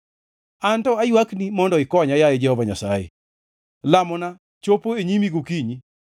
Anto aywakni mondo ikonya, yaye Jehova Nyasaye; lamona chopo e nyimi gokinyi.